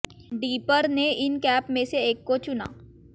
dipper ने इन cap में से एक को चुना